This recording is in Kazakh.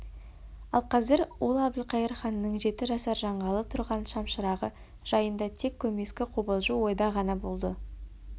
ал қазір ол әбілқайыр ханның жеті жасар жанғалы тұрған шамшырағы жайында тек көмескі қобалжу ойда ғана болды